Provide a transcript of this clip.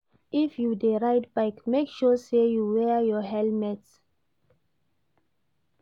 If you de ride bike make sure say you wear your helmet